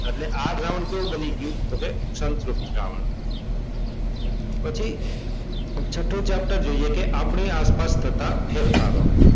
એટલે આ દ્રાવણ કેવું બની ગયું? તો કે સંતૃપ્ત દ્રાવણ પછી છઠ્ઠો ચેપ્ટર જોઈએ કે આપણે આસપાસ થતા ફેરફારો.